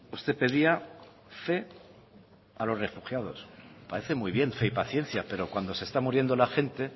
usted pedía fe a los refugiados parece muy bien fe y paciencia pero cuando se está muriendo la gente